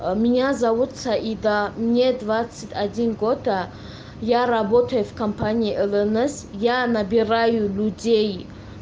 а меня зовут саида мне двадцать одни год я работаю в компании ммс я набираю людей